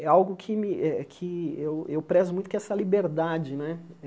É algo que me eh que eu eu prezo muito, que é essa liberdade né.